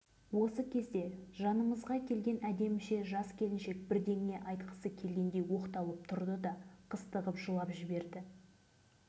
мен өзім осы ауылда селолық кеңестің төрағасы болып жүріп бес-алты жігіттің мойнындағы қыл арқанды өз қолыммен шешіп алған